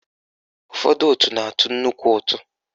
Ụfọdụ òtù na-atụ nnukwu ụtụ